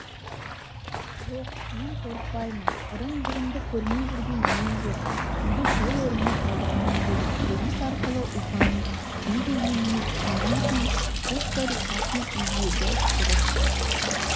жоқ мен қорықпаймын ырым-жырымды көрмей жүрген мен жоқ үйді сол орнына салдырамын деді тілеміс арқылы ұлпанның не дегеніне түсінген соң пушкарь басын изедідұрыс